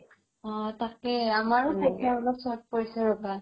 অ তাকেই আমাৰও অলপ short পৰিছে ৰবা